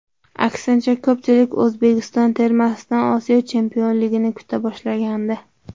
Aksincha, ko‘pchilik O‘zbekiston termasidan Osiyo chempionligini kuta boshlagandi.